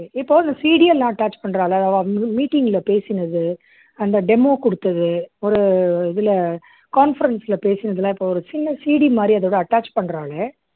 இப்போ இந்த CV யெல்லாம் attach பண்றா இல்லை meeting ல பேசினது அந்த demo குடுத்தது ஒரு இதுல conference ல பேசினது ஒரு சின்ன CV மாதிரி attach பண்றோம் இல்லை